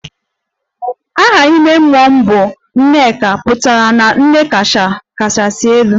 Aha ime mmụọ m bụ 'Nneka' pụtara na nne kachasị elu